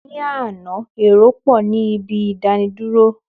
Ní àná, èrò pọ̀ ní ibi ìdánidúró.